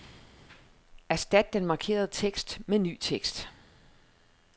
Erstat den markerede tekst med ny tekst.